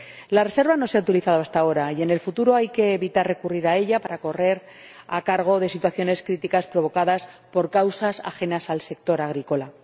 La reserva no se ha utilizado hasta ahora y, en el futuro, hay que evitar recurrir a ella para hacer frente a situaciones críticas provocadas por causas ajenas al sector agrícola.